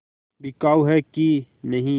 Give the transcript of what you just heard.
बिकाऊ है कि नहीं